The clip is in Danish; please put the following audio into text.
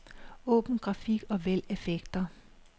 Åbn grafik og vælg effekter.